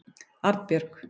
Arnbjörg